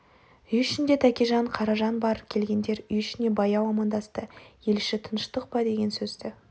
үй ішінде тәкежан қаражан бар келгендер үй ішіне баяу амандасты ел іші тыныштық па деген сөзді